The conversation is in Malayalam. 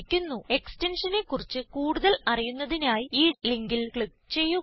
എക്സ്റ്റൻഷനെ കുറിച്ച് കൂടുതൽ അറിയുന്നതിനായി ഈ ലിങ്കിൽ ക്ലിക്ക് ചെയ്യുക